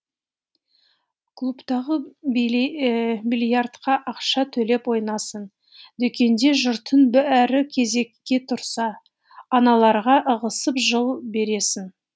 клубтағы бильярдқа ақша төлеп ойнайсың дүкенде жұртты бәрі кезекке тұрса аналарға ығысып жол бересің